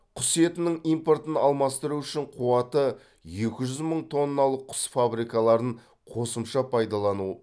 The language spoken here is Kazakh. құс етінің импортын алмастыру үшін қуаты екі жүз мың тонналық құс фабрикаларын қосымша пайдалану